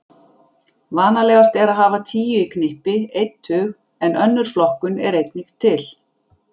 Vanalegast er að hafa tíu í knippi, einn tug, en önnur flokkun er einnig til.